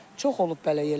Çox olub belə yerlərdə.